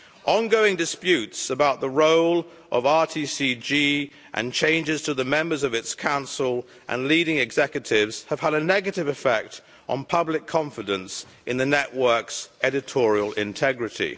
Ongoing disputes about the role of RTCG and changes to the members of its council and leading executives have had a negative effect on public confidence in the network's editorial integrity.